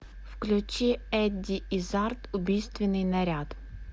включи эдди иззард убийственный наряд